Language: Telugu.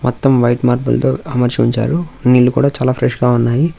మొత్తం వైట్ మార్బుల్ తో అమర్చి ఉంచారు నీళ్ళు కూడా చాలా ఫ్రెష్ గా ఉన్నాయి.